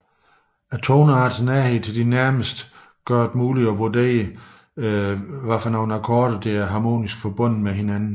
Toneartens nærhed til de nærmeste muliggør tillige en vurdering af hvilke akkorder der er harmonisk forbundet med hinanden